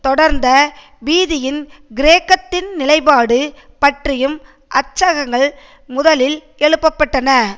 தொடர்ந்த பீதியின் கிரேக்கத்தின் நிலைப்பாடு பற்றியும் அச்சககங்கள் முதலில் எழுப்ப பட்டன